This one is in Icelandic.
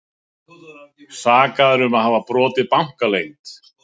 Sakaður um að hafa brotið bankaleynd